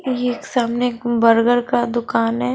ये एक सामने बर्गर का दुकान है।